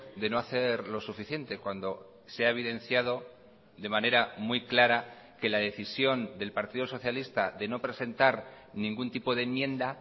de no hacer lo suficiente cuando se ha evidenciado de manera muy clara que la decisión del partido socialista de no presentar ningún tipo de enmienda